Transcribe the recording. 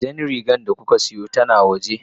Jan rigar da kuka siyo tana waje.